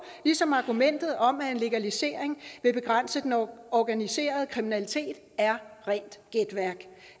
ligesom argumentet om at en legalisering vil begrænse den organiserede kriminalitet er rent gætværk